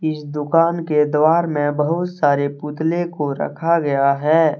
इस दुकान के द्वार में बहुत सारे पुतले को रखा गया है।